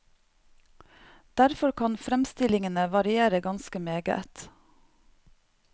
Derfor kan fremstillingene variere ganske meget.